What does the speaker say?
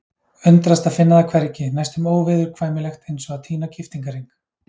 Undrast að finna það hvergi, næstum óviðurkvæmilegt eins og að týna giftingarhring.